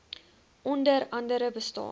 onder andere bestaan